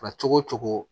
cogo cogo